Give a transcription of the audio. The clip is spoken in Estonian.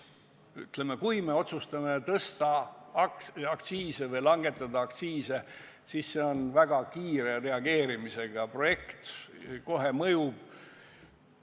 Ütleme, kui me otsustame tõsta aktsiise või langetada aktsiise, siis see on väga kiire tagasisidega otsus – kohe mõjub.